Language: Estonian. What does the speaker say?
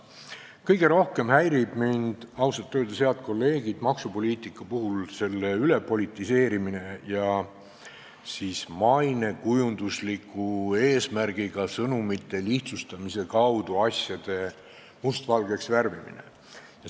Kõige rohkem häirib mind ausalt öeldes, head kolleegid, maksupoliitika puhul selle ülepolitiseerimine ja mainekujunduslikul eesmärgil sõnumite lihtsustamise kaudu asjade mustvalgeks värvimine.